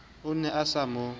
o ne o sa mo